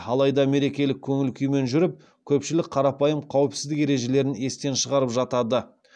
алайда мерекелік көңіл күймен жүріп көпшілік қарапайым қауіпсіздік ережелерін естен шығарып жатады